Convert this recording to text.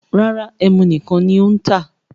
Rárá, ẹ́mú nìkan ní ó ń tà.